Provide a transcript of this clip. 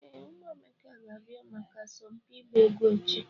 Ee, ụmụ Emeka ga-abịa maka asọmpi ịgba egwu echi.